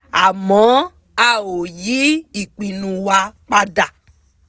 àmọ́ a ò yí ìpinnu wa pa dà